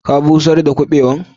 Ka busher da kubewan?